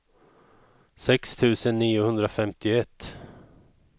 sex tusen niohundrafemtioett